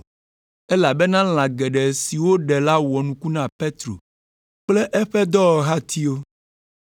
Elabena lã geɖe si woɖe la wɔ nuku na Petro kple eƒe dɔwɔhatiwo.